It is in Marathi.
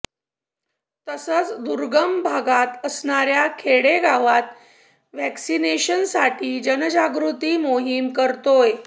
तसंच दुर्गम भागात असणाऱ्या खेडे गावात व्हॅक्सिनेशनसाठी जनजागृती मोहीम करतोय